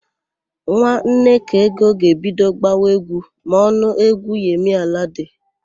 Nwa Nnekaego ga-ebido gbawa égwú ma ọ nụ égwú Yemi Alade.